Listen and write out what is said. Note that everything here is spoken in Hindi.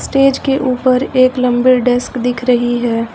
स्टेज के ऊपर एक लंबे डेस्क दिख रही है।